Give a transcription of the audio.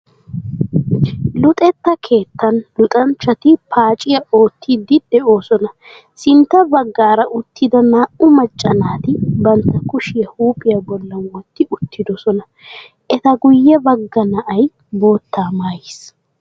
Luxetta keettaan luxxanchchati paaciya oottiidi de'oosona. Sintta baggaara uttida naa"u macca naati bantta kushiya huuphiya bollan wotti uttiddossona. Eta guye bagga na'ay bootta maayiis.